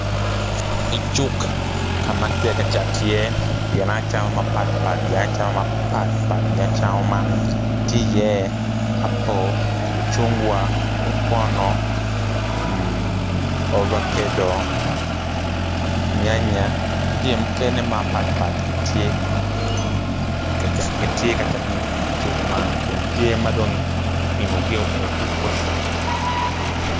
I cuk ka ma kitye ka cato iye gin acama mapat pat gin acama man tye iye apple, mucungwa, okono, avocado, nyanya ki jami mukene mapat pat gitye ka cato idi cuk man kun tye ma dongo kipimogio.